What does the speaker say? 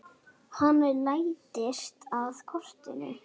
Hann læddist að kortinu.